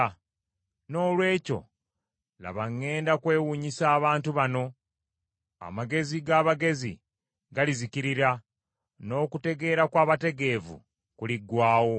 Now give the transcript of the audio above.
Noolwekyo, laba ŋŋenda kwewuunyisa abantu bano. Amagezi g’abagezi galizikirira, n’okutegeera kw’abategeevu kuliggwaawo.”